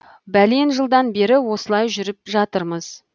бәлен жылдан бері осылай жүріп жатырмыз